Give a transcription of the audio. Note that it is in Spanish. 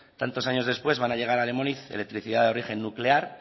tantos años después van a llegar a lemoniz electricidad de origen nuclear